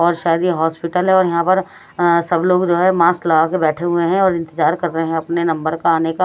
बहुत सारे हॉस्पिटल है और यहां पर सब लोग जो है मास्क लगा कर बैठे हुए है और इंतजार कर रहे है अपने नंबर का आने का --